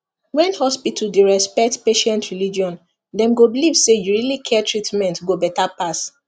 when hospital the respect patient religion dem go believe say you really care treatment go better pass